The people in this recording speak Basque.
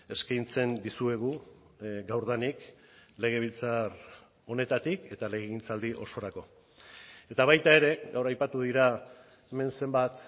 eskaintzen dizuegu gaurdanik legebiltzar honetatik eta legegintzaldi osorako eta baita ere gaur aipatu dira hemen zenbat